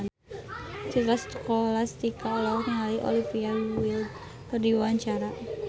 Citra Scholastika olohok ningali Olivia Wilde keur diwawancara